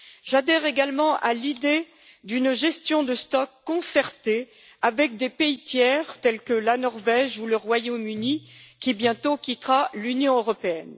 J'adhère également à l'idée d'une gestion des stocks concertée avec des pays tiers, tels que la Norvège ou le Royaume Uni, qui, bientôt, quittera l'Union européenne.